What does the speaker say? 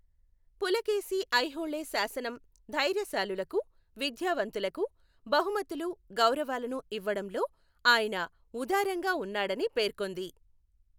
పులకేశి ఐహోళే శాసనం ధైర్యశాలులకు, విద్యావంతులకు బహుమతులు, గౌరవాలను ఇవ్వడంలో ఆయన ఉదారంగా ఉన్నాడని పేర్కొంది.